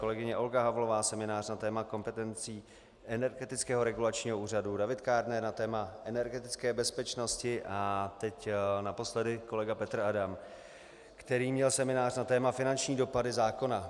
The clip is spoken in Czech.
Kolegyně Olga Havlová seminář na téma kompetencí Energetického regulačního úřadu, David Kádner na téma energetické bezpečnosti a teď naposledy kolega Petr Adam, který měl seminář na téma finanční dopady zákona.